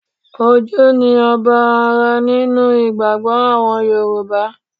Ojú ni ọba ara nínú ìgbàgbọ́ àwọn Yorùbá